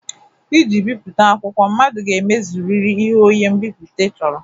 Iji bipụta akwụkwọ, mmadụ ga-emezurịrị ihe onye mbipụta chọrọ